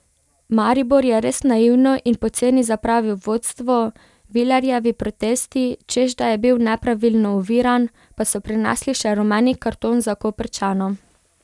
Maribor je res naivno in poceni zapravil vodstvo, Vilerjevi protesti, češ da je bil nepravilno oviran, pa so prinesli še rumeni karton za Koprčana.